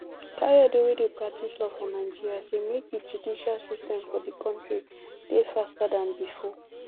kayode wey dey practice law for nigeria say make di justice system for di kontri dey faster dan bifor